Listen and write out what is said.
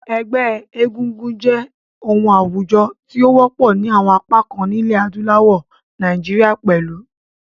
Ẹgbẹ́ egúngún jẹ́ oun àwùjo ti o wọ́pọ̀ ni àwon apá kan nílẹ̀ adúláwò, Naijiria pẹ̀lu.